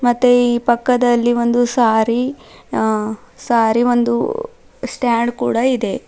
ಮತ್ತೆ ಈ ಪಕ್ಕದಲ್ಲಿ ಒಂದು ಸಾರಿ ಅ ಸಾರಿ ಒಂದು ಸ್ಟ್ಯಾಂಡ್ ಕೂಡ ಇದೆ.